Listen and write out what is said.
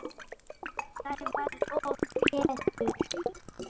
Sævar og Pétur.